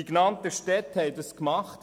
Die genannten Städte haben es getan.